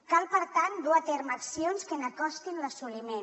cal per tant dur a terme accions que n’acostin l’assoliment